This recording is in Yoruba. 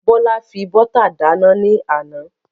Bọ́lá fi bọ́tà dáná ní àná.